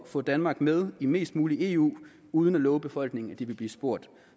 få danmark med i mest muligt eu uden at love befolkningen at de vil blive spurgt